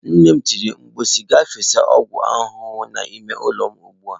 Nne m tiri mkpu si, gaa fesa ọgwụ ahụhụ n'ime ụlọ m ugbu a!